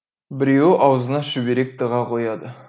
біреуі аузына шүберек тыға қояды